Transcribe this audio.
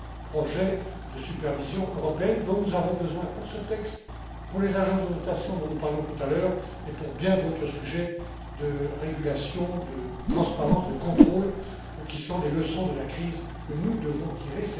projet de supervision européenne dont nous avons besoin pour ce texte, pour les agences de notation dont nous parlions tout à l'heure et pour bien d'autres sujets de régulation, de transparence, de contrôle, qui sont les leçons de la crise que nous devons tirer.